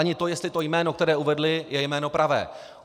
Ani to, jestli to jméno, které uvedli, je jméno pravé.